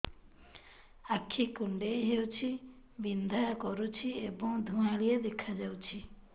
ଆଖି କୁଂଡେଇ ହେଉଛି ବିଂଧା କରୁଛି ଏବଂ ଧୁଁଆଳିଆ ଦେଖାଯାଉଛି